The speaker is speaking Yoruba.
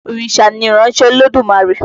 Òrìṣà ni ìránṣẹ́ Elédùmarè.